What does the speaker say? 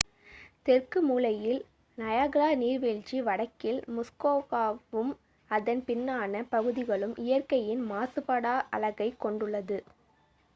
தெற்கு மூலையில் நயாகரா நீர்வீழ்ச்சி வடக்கில் முஸ்கோகாவும் அதன் பின்னான பகுதிகளும் இயற்கையின் மாசுபடாத அழகைக் கொண்டுள்ளது